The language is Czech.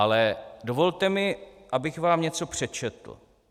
Ale dovolte mi, abych vám něco přečetl.